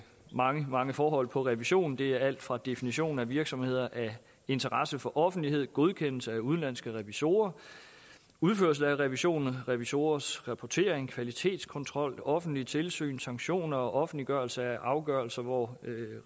mange mange forhold inden for revision det er alt fra definitionen af virksomheder af interesse for offentligheden godkendelse af udenlandske revisorer udførelse af revisionen revisorers rapportering kvalitetskontrol offentligt tilsyn sanktioner og offentliggørelse af afgørelser hvor